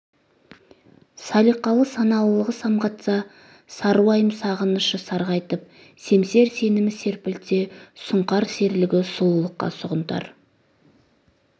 салиқалы саналылығы самғатса сарыуайым сағынышы сарғайтып семсер сенімі серпілтсе сұңқар серілігі сұлулыққа сұғынтар